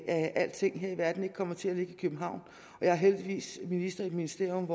at alting her i verden ikke kommer til at ligge i københavn og jeg er heldigvis minister i et ministerium